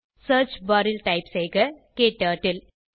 search bar ல் type செய்க க்டர்ட்டில்